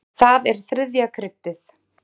Það er þriðja kryddið.